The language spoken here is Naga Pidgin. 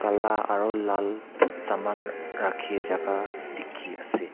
la aru lal saman rakhi jaga dikhi ase.